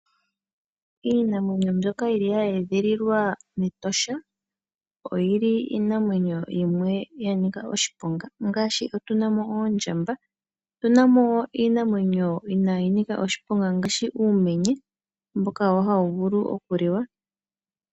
Iinamwenyo mbyoka hayi edhililwa mEtosha oyo iinamwenyo mbyoka yanika oshiponga ngaashi oondjamba. Otuna mo iinamwenyo inaayi nika oshiponga ngaashi uumenye mboka hawu vulu okuliwa.